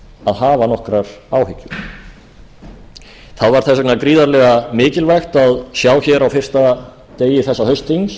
að hafa nokkrar áhyggjur það var þess vegna gríðarlega mikilvægt að sjá á fyrsta degi þessa haustþings